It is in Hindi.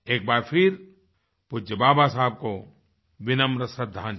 एक बार फिर पूज्य बाबा साहब को विनम्र श्रद्धांजलि